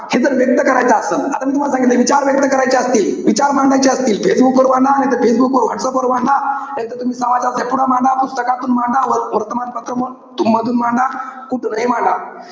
हे जर व्यक्त करायचं असलं. आता मी तूम्हाला सांगितलंय, विचार व्यक्त करायचे असतील, विचार मांडायचे असतील. फेसबुक वर मांडा, नाहीतर फेसबुकवर, व्हाट्सअप वर मांडा. नाही त तुम्ही समाजाच्या पुढं मांडा. पुस्तकातून मांडा. वर्तमानपत्र मधून मांडा, कुठूनही मांडा.